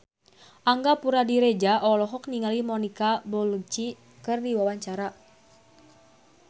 Angga Puradiredja olohok ningali Monica Belluci keur diwawancara